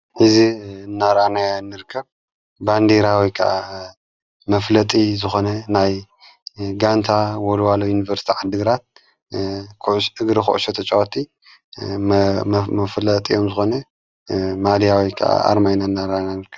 እዝ እናራናዮ ንርከብ ባንዲራ ወይ ከዓ መፍለጢ ዝኾነ ናይ ጋንታ ወልዋሎ ዩንበርስቲ ዓድግራት እግሪ ዂዕሾ ተጭዎቲ መፍለጥዮም ዝኾነ ማሊያ ወይ ከዓ ኣርማ እናረአንያ ንርከብ።